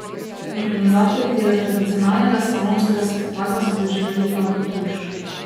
Organizatorji tega tradicionalnega slalomskega spektakla so doživeli hladen tuš.